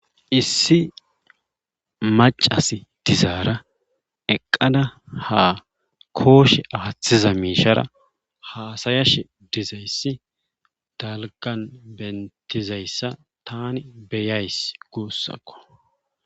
issi macas dizaara eqqada ha kooshe afathiza miishara haasayashe dizayssi dalgan bentizayssa tani beyays guossakko